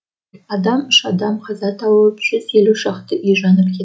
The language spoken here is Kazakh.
адам үш адам қаза тауып жүз елу шақты үй жанып кет